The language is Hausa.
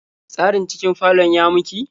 Tsarin cikin falon ya miki?